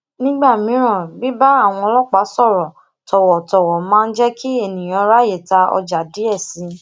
nígbà míì bíbá àwọn ọlópàá sòrò tòwòtòwò máa ń jé kí eniyan ráyè ta oja die si